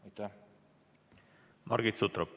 Margit Sutrop, palun!